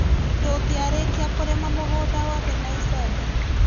Ndungĩarĩkia kũrĩma mũgunda wothe na icembe.